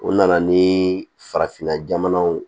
O nana ni farafinna jamanaw